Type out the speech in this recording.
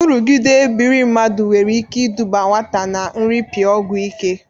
Nrụgide ebiri mmadụ nwere ike ịdụba nwata na nrịpịa ọgwọ ike.